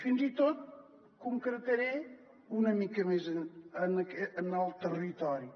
fins i tot concretaré una mica més en el territori